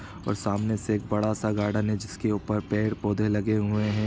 और सामने से एक बड़ा सा गार्डन है जिसके ऊपर पेड़ पौधे लगे हुए हैं।